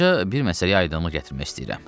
Buradakı bir məsələyə aydınlıq gətirmək istəyirəm.